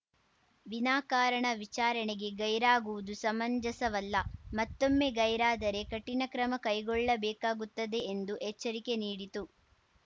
ವಿನಾಕಾರಣ ವಿಚಾರಣೆಗೆ ಗೈರಾಗುವುದು ಸಮಂಜಸವಲ್ಲ ಮತ್ತೊಮ್ಮೆ ಗೈರಾದರೆ ಕಠಿಣ ಕ್ರಮ ಕೈಗೊಳ್ಳಬೇಕಾಗುತ್ತದೆ ಎಂದು ಎಚ್ಚರಿಕೆ ನೀಡಿತು